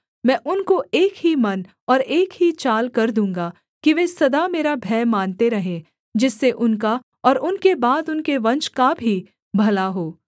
मैं उनको एक ही मन और एक ही चाल कर दूँगा कि वे सदा मेरा भय मानते रहें जिससे उनका और उनके बाद उनके वंश का भी भला हो